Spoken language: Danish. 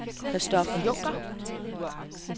Christopher Junker